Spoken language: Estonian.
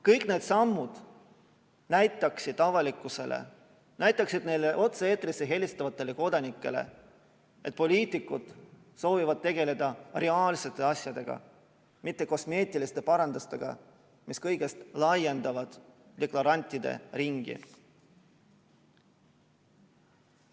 Kõik need sammud näitaksid avalikkusele, näitaksid neile otse-eetrisse helistavatele kodanikele, et poliitikud soovivad tegeleda reaalsete asjadega, mitte kosmeetiliste parandustega, mis kõigest laiendavad deklarantide ringi.